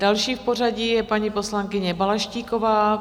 Další v pořadí je paní poslankyně Balaštíková.